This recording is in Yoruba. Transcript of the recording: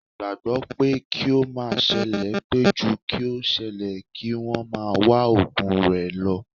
Wọn gbagbọ pé kí ó má sele pé ju kí o ṣẹlẹ̀, kí wọ́n máa wá ògùn rẹ lo